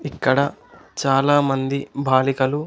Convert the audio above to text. ఇక్కడ చాలామంది బాలికలు.